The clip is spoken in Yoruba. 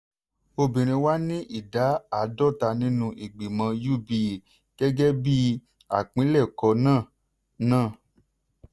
obìnrin wà ní ìdá àádọ́ta nínú ìgbìmọ̀ uba gẹ́gẹ́ bí àpilẹ̀kọ náà. náà.